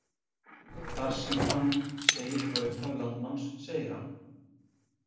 Þar sem hann segir frá upphafi landnáms segir hann: